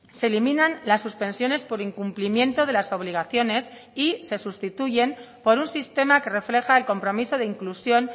se eliminan las suspensiones por incumplimiento de las obligaciones y se sustituyen por un sistema que refleja el compromiso de inclusión